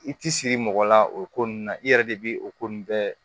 I ti siri mɔgɔ la o ko ninnu na i yɛrɛ de bi o ko nunnu bɛɛ